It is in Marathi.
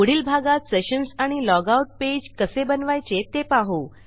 पुढील भागात सेशन्स आणि लॉग आउट पेज कसे बनवायचे ते बघू